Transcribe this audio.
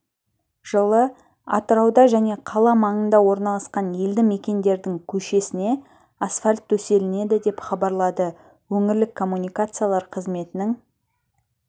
жылы атырауда және қала маңында орналасқан елді мекендердің көшесіне асфальт төселінеді деп хабарлады өңірлік коммуникациялар қызметінің